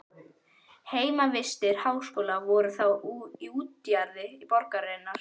Heimavistir háskólans voru þá í útjaðri borgarinnar.